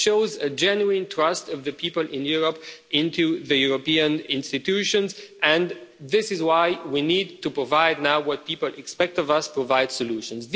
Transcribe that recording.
It shows a genuine trust of the people in Europe, in the European institutions, and this is why we need to provide now what people expect of us provide solutions.